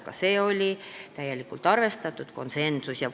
Mõlemad ettepanekud on täielikult arvestatud, st konsensus.